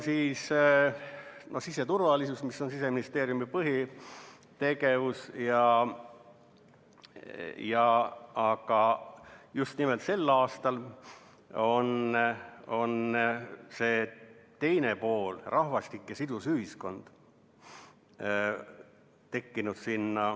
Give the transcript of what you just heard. Siseturvalisus on Siseministeeriumi põhitegevus, aga just nimelt sel aastal on see teine pool, rahvastik ja sidus ühiskond, ka sinna tekkinud.